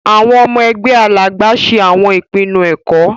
Awọn ọmọ ẹgbẹ Alàgbà ṣe awọn ìpinnu ẹkọ.